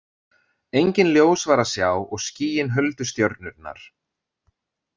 Engin ljós var að sjá og skýin huldu stjörnurnar.